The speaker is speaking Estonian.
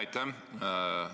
Aitäh!